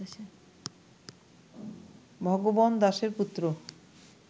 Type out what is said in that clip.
ভগবন দাসের পুত্র